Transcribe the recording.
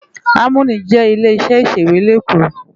Àmóní jè ilé iṣè iṣéwé ni Ékó